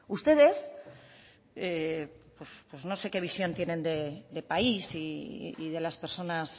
ustedes no sé qué visión tienen de país y de las personas